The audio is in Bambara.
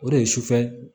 O de ye sufɛ